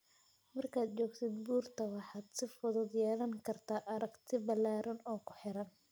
Markaad joogtid buurta, waxaad si fudud u yeelan kartaa aragti ballaaran oo ku xeeran.